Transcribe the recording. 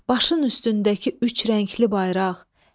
Başın üstündəki üç rəngli bayraq.